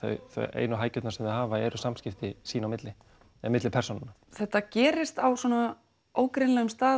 einu hækjurnar sem þau hafa eru samskipti milli milli persónanna þetta gerist á svona ógreinilegum stað